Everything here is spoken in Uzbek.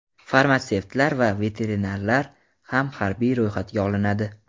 farmatsevtlar va veterinarlar ham harbiy ro‘yxatga olinadi.